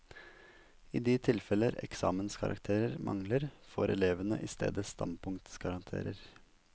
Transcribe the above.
I de tilfeller eksamenskarakterer mangler, får elevene i stedet standpunktkarakter.